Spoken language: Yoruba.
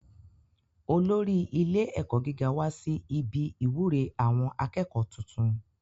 Olórí ilé ẹ̀kọ́ gíga wá sí ibi ìwúre àwọn akẹ́kọ̀ọ́ tuntun